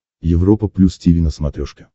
европа плюс тиви на смотрешке